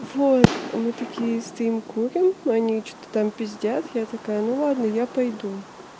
вот мы такие стоим курим они что-то там пиздят я такая ну ладно я пойду